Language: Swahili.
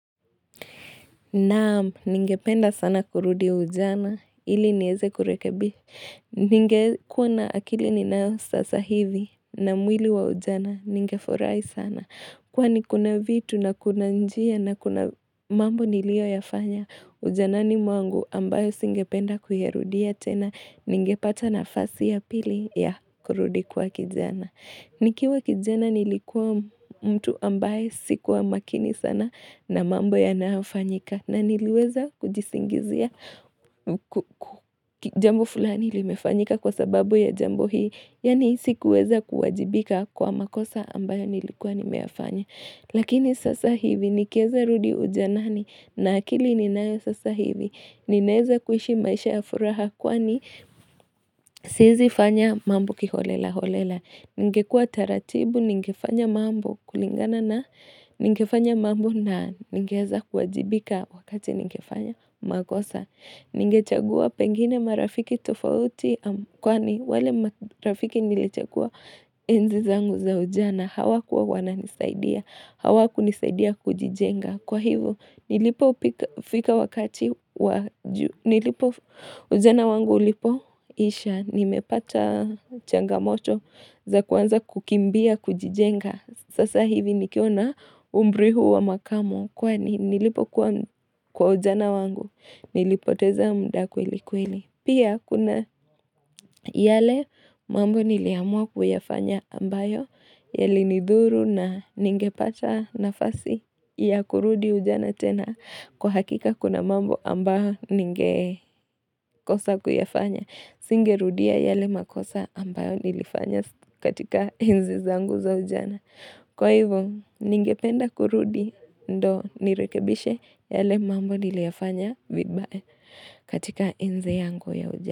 Naam, ningependa sana kurudi ujana, ili niweze kurekebisha. Ningekuwa na akili ninayo sasa hivi na mwili wa ujana, ningefurahi sana. Kwani kuna vitu na kuna njia na kuna mambo niliyo yafanya, ujanani mwangu ambayo singependa kuyarudia tena, ningepata nafasi ya pili ya kurudi kuwa kijana. Nikiwa kijana nilikuwa mtu ambaye sikuwa makini sana na mambo yanayofanyika na niliweza kujisingizia jambo fulani limefanyika kwa sababu ya jambo hii, yani sikuweza kuwajibika kwa makosa ambayo nilikuwa nimeyafanya. Lakini sasa hivi nikiweza rudi ujanani na akili ninayo sasa hivi ninaweza kuishi maisha ya furaha kwani siezi fanya mambo kiholela holela. Ningekua taratibu ningefanya mambo kulingana na ningefanya mambo na ningeweza kuwajibika wakati ningefanya makosa. Nigechagua pengine marafiki tofauti kwani wale marafiki niliochagua enzi zangu za ujana. Hawa kuwa wana nisaidia. Hawa kunisaidia kujijenga. Kwa hivo, nilipo ujana wangu ulipo isha. Nimepata changamoto za kuanza kukimbia, kujijenga. Sasa hivi nikiwa na umri huu wa makamo. Kwani nilipo kuwa kwa ujana wangu. Nilipoteza muda kweli kweli. Pia kuna yale mambo niliamua kuyafanya ambayo. Yali nidhuru na ningepata nafasi ya kurudi ujana tena. Kwa hakika kuna mambo ambayo ningekosa kuyafanya. Singerudia yale makosa ambayo nilifanya katika enzi zangu za ujana. Kwa hivyo, ningependa kurudi ndio nirekebishe yale mambo niliyoyafanya vibaya katika enzi yangu ya ujana.